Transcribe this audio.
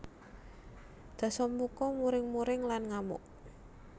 Dasamuka muring muring lan ngamuk